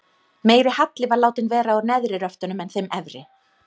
Meiri halli var látinn vera á neðri röftunum en þeim efri.